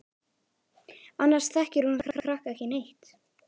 Annars þekkir hún þessa krakka ekki neitt.